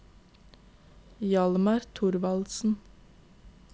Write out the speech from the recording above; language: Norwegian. Hjalmar Thorvaldsen